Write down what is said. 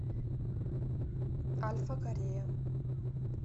альфа корея